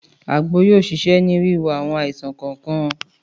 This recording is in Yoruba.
Àgbo yóò ṣiṣẹ́ ní wiwo àwọn àìsàn kọ̀ọ̀kan